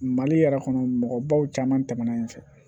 Mali yɛrɛ kɔnɔ mɔgɔbaw caman tɛmɛna yen fɛ